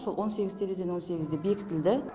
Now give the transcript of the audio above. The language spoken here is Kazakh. сол он сегіз терезенің он сегізі де бекітілді